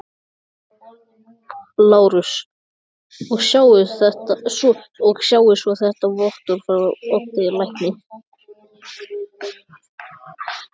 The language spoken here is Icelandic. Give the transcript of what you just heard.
LÁRUS: Og sjáið svo þetta vottorð frá Oddi lækni.